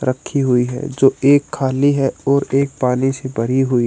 रखी हुई है जो एक खाली है और एक पानी से भरी हुई--